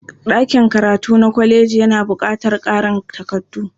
Ɗakin karatu na kolejin yana baƙatar ƙarin takardu.